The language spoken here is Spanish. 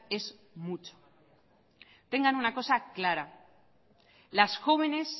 es mucho tengan una cosa clara las jóvenes